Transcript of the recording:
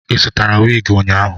Ị zụtara wig ụnyahụ?